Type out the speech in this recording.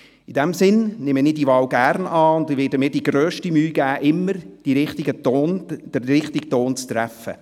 In diesem Sinn nehme ich die Wahl gerne an und werde mir die grösste Mühe geben, immer den richtigen Ton zu treffen.